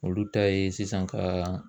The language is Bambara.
Olu ta ye sisan k'a